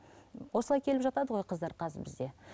осылай келіп жатады ғой қыздар қазір бізде